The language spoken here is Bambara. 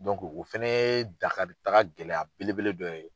o fana ye dakaritaga gɛlɛya belebele dɔ ye.